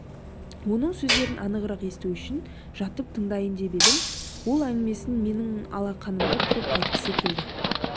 оның сөздерін анығырақ есту үшін жатып тыңдайын деп едім ол әңгімесін менің алақанымда тұрып айтқысы келді